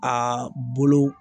Aa bolo